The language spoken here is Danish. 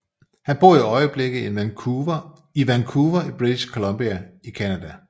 Han bor i øjeblikket i Vancouver i British Columbia i Canada